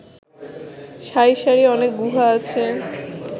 সারি সারি অনেক গুহা আছে